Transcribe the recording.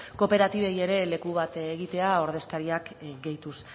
kooperatibei ere leku bat egitea ordezkariak gehituz